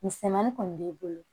Misɛnmanin kɔni b'i bolo